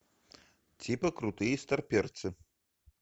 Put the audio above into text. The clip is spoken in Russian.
типа крутые старперцы